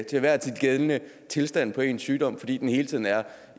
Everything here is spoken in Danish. enhver tid gældende tilstand for ens sygdom fordi den hele tiden er